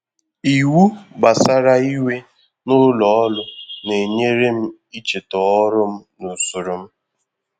Iwu gbasara ị́wè n’ụlọ̀ ọrụ́ na-enyere m icheta ọrụ m na usoro m.